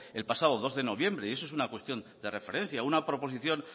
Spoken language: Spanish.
el pasado dos de noviembre y eso es una cuestión de referencia una proposición